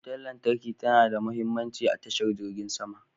Wutar lantarki ta na da mahimmanci a tashar jirgin sama.